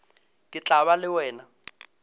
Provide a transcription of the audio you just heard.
ke tla ba le wena